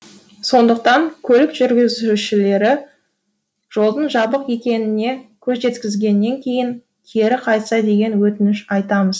сондықтан көлік жүргізушілері жолдың жабық екеніне көз жеткізгеннен кейін кері қайтса деген өтініш айтамыз